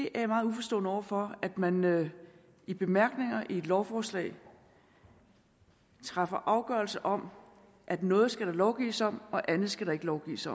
er meget uforstående over for at man man i bemærkninger i et lovforslag træffer afgørelse om at noget skal der lovgives om og andet skal der ikke lovgives